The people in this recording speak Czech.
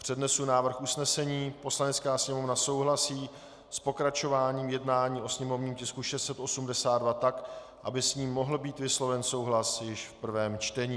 Přednesu návrh usnesení: "Poslanecká sněmovna souhlasí s pokračováním jednání o sněmovním tisku 682 tak, aby s ním mohl být vysloven souhlas již v prvém čtení."